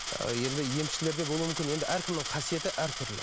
енді емшілерде болуы мүмкін енді әркімнің қасиеті әртүрлі